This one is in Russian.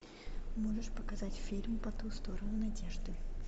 можешь показать фильм по ту сторону надежды